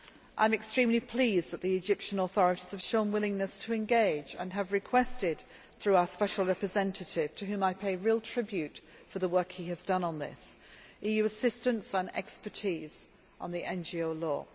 I am extremely pleased that the Egyptian authorities have shown willingness to engage and have requested through our Special Representative, to whom I pay real tribute for the work he has done on this, EU assistance and expertise on the NGO law.